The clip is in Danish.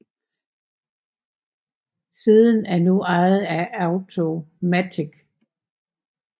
Siden er nu ejet af Automattic